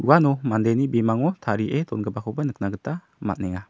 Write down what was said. uano mandeni bimango tarie dongipakoba nikna gita man·enga.